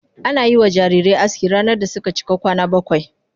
Ana yi wa jarirai aski ranar da suka cika kwana bakwai.